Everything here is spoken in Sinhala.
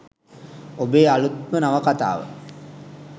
ඔබේ අලුත්ම නවකතාව